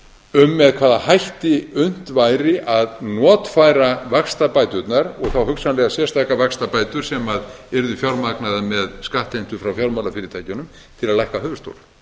um með hvaða hætti unnt væri að notfæra vaxtabæturnar og þá hugsanlega sérstakar vaxtabætur sem yrðu fjármagnaðar með skattheimtu frá fjármálafyrirtækjunum til að lækka höfuðstól